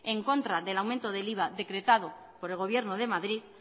en contra del aumento del iva decretado por el gobierno de madrid